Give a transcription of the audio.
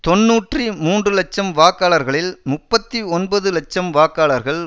தொன்னூற்றி மூன்று இலட்சம் வாக்காளர்களில் முப்பத்தி ஒன்பது இலட்சம் வாக்காளர்கள்